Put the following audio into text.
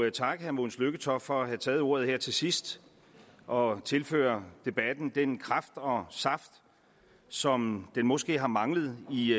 at takke herre mogens lykketoft for at have taget ordet her til sidst og tilføre debatten den kraft og saft som den måske har manglet i